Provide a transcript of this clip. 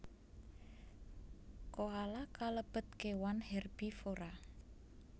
Koala kalebet kewan hèrbivora